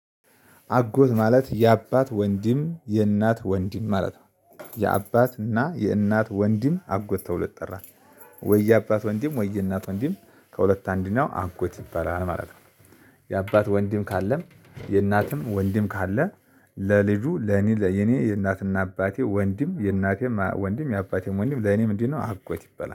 አጎት ማለት የአባት ወንድም የእናት ወንድም ማለት ነው። የአባት እና የእናት ወንድም አጎት ተብሎ ይጠራል። ወይ የአባት ወንድም ወይ የእናት ወንድም ከሁለት አንድ ነው አጎት ይባላል ማለት ነው። የአባት ወንድም ካለም የእናትም ወንድም ካለ። ለልጁ ለኔ ለኔ የእናትና አባቴ ወንድም የእናቴም ወንድም የአባቴም ወንድም ለኔ ምንድነእ? አጎት ይበላል